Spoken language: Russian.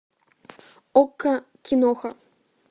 окко киноха